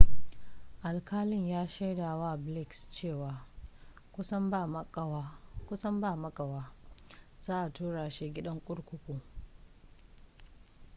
alƙalin ya shaidawa blakes cewa kusan ba makawa za a tura shi gidan kurkuku